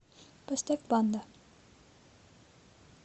поставь банда